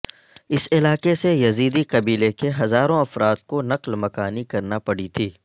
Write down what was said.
اس علاقے سے یزیدی قبیلے کے ہزاروں افراد کو نقل مکانی کرنا پڑی تھی